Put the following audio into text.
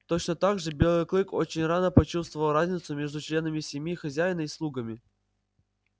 точно так же белый клык очень рано почувствовал разницу между членами семьи хозяина и слугами